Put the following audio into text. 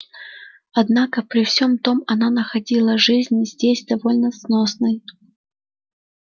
однако при всем том она находила жизнь здесь довольно сносной